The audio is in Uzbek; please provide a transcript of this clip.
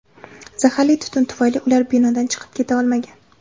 Zaharli tutun tufayli ular binodan chiqib keta olmagan.